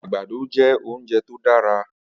Agbàdó jè óunjé tó dàrá